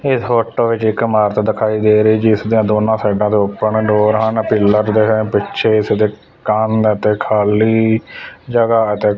ਇਸ ਫੋਟੋ ਵਿਚ ਇੱਕ ਦਿਖਾਈ ਦੇ ਰਹੇ ਜਿਸ ਦੀਆਂ ਦੋਨਾਂ ਸਾਈਡਾਂ ਤੋਂ ਓਪਨ ਡੋਰ ਹਨ ਪਿਲਰ ਦੇ ਪਿੱਛੇ ਇਦੇ ਕੰਦ ਤੇ ਖਾਲੀ ਜਗਹਾ ਤੇ